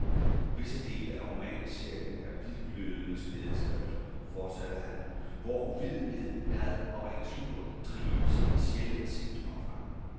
Visse dele af romanserien er hvidglødende smædeskrifter, fortsatte han, hvor uvidenhed, had og ren sludder trives i et sjældent set omfang.